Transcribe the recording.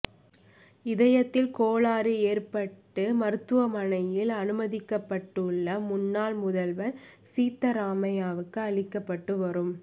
இதயத்தில் கோளாறு ஏற்பட்டு மருத்துவமனையில் அனுமதிக்கப்பட்டுள்ள முன்னாள் முதல்வா் சித்தராமையாவுக்கு அளிக்கப்பட்டு வரும்